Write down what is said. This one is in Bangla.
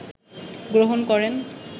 গ্রহণ করেন